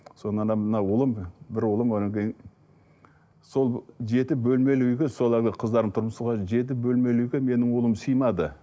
сол мына ұлым бір ұлым одан кейін сол жеті бөлмелі үйге сол әлгі қыздарым тұрмыста жеті бөлмелі үйге менің ұлым сыймады